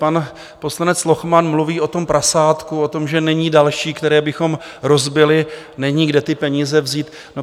Pan poslanec Lochman mluví o tom prasátku, o tom, že není další, které bychom rozbili, není, kde ty peníze vzít.